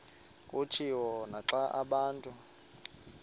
kutshiwo naxa abantu